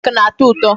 Cake na-atọ ụtọ.